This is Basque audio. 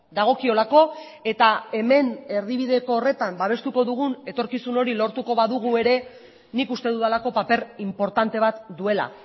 dagokiolako eta hemen erdibideko horretan babestuko dugun etorkizun hori lortuko badugu ere nik uste dudalako paper inportante bat duela